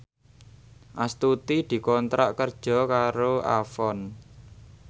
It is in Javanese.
Astuti dikontrak kerja karo Avon